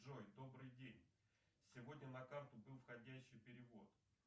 джой добрый день сегодня на карту был входящий перевод